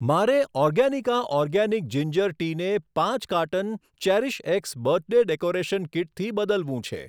મારે Organica organic ginger ટીને પાંચ કાર્ટન ચેરીશએક્સ બર્થડે ડેકોરેશન કીટથી બદલવું છે.